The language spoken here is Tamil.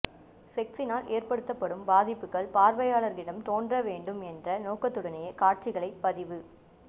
செக்சினால் ஏற்படுத்தப்படும் பாதிப்புக்கள் பார்வையாளர்களிடம் தோன்றவேண்டும் என்ற நோக்கத்துடனேயே காட்சிகளை பதிவு